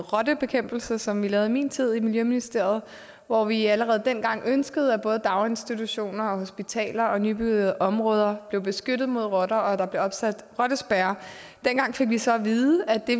rottebekæmpelse som vi lavede i min tid i miljøministeriet hvor vi allerede dengang ønskede at både daginstitutioner hospitaler og nybyggede områder blev beskyttet mod rotter og at der blev opsat rottespærrer dengang fik vi så at vide at det